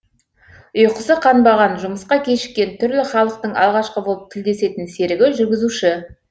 ұйқысы қанбаған жұмысқа кешіккен түрлі халықтың алғашқы болып тілдесетін серігі жүргізуші